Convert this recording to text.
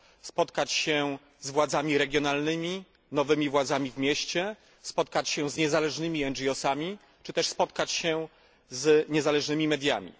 spotkać się z władzami regionalnymi, nowymi władzami w mieście, spotkać się z niezależnymi ONG sami czy też spotkać się z niezależnymi mediami.